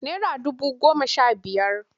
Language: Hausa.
Nera dubu goma sha biyar.